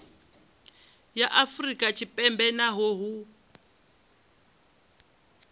ya afrika tshipembe naho hu